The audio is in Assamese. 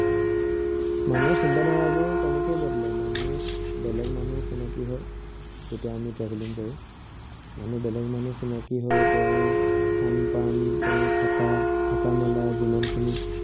মানুহৰ চিন্তা -ধাৰা বোৰো তেনেকেই বদলে, মানুহ, বেলেগ মানুহ চিনাকি হয়। যেতিয়া আমি traveling কৰো। মানুহ বেলেগ মানুহ চিনাকি হৈ তেওঁৰ খান পান, তেওঁৰ থাকা, থকা- মেলা যিমানখিনি